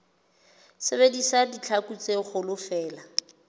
sebedisa ditlhaku tse kgolo feela